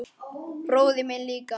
Bróðir minn líka.